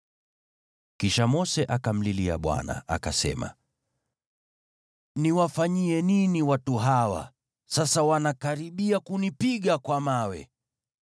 Kisha Mose akamlilia Bwana , akasema, “Niwafanyie nini watu hawa? Sasa wanakaribia kunipiga kwa mawe.”